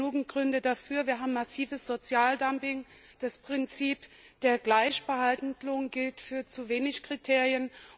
Es gibt genügend Gründe dafür Wir haben massives Sozialdumping, das Prinzip der Gleichbehandlung gilt für zu wenig Kriterien.